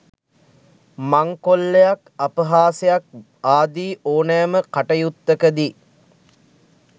මංකොල්ලයක් අපහාසයක් ආදී ඕනෑම අකටයුත්තක දී